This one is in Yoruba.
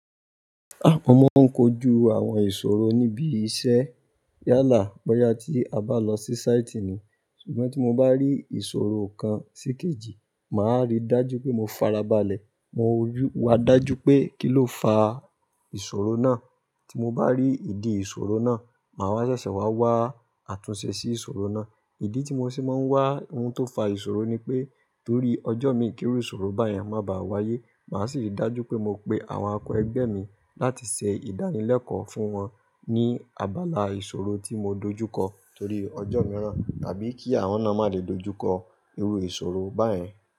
À mọ n kójù àwọn ìṣòro níbi iṣẹ́. Yálà, bọya tí a bá lọ sí sáìtì ni, ṣùgbọ́n tí mo bá rí ìṣòrò kan sí kejì, màá ri dájú pé mọ farabalẹ̀. Mọ wo ju wa dájú pé kí ló fà ìṣòrò náà. Tí mo bá rí ìdí ìṣòrò náà, màá wa ṣẹṣẹ ṣà wá wá àtùnṣe sí ìṣòrò náà. Ìdí tí mọ ṣì má n wá ohun tó fa ìṣòrò ni pé, torí ọjọ́ mi kí ìrú ìṣòrò báyen má bà wáyé. Màá sì rí dájú pé mọ pe àwọn akọ̀ ẹgbẹ́ mi láti ṣe ìdánilẹ́kọ̀ọ́ fún wọ́n ní abala ìṣòrò tí mọ dojúkọ torí ọjọ́ mìíràn tàbí kí àwọn náà má lè dojúkọ irú ìṣòrò báyìí.